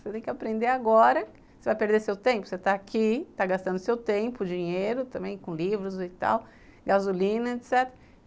Você tem que aprender agora, você vai perder seu tempo, você está aqui, está gastando seu tempo, dinheiro também, com livros e tal, gasolina, etc.